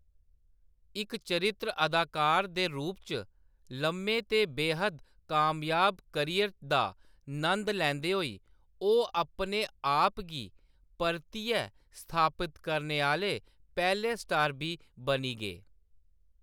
इक चरित्र अदाकार दे रूप च लम्मे ते बेहद्द कामयाब करियर दा नंद लैंदे होई ओह्‌‌ अपने आप गी परतियै स्थापित करने आह्‌‌‌ले पैह्‌‌‌ले स्टार बी बनी गे।